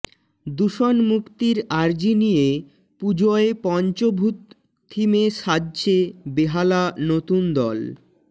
দূষণ মুক্তির আর্জি নিয়ে পুজোয় পঞ্ছভূত থিমে সাজছে বেহালা নতুনদল